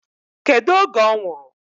Kedu oge ọ nwụrụ?